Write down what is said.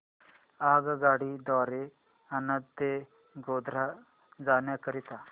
आगगाडी द्वारे आणंद ते गोध्रा जाण्या करीता